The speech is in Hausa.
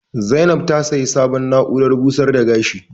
Zainab ta siya sabon na'uran busar da gashi